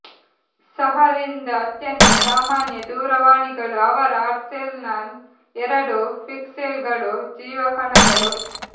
ಸಹ ರಿಂದ ಅತ್ಯಂತ ಸಾಮಾನ್ಯ ದೂರವಾಣಿಗಳು ಅವರ ಆರ್ಸೆನಲ್ ಎರಡು ಪಿಕ್ಸೆಲ್ಗಳು ಜೀವಕಣಗಳು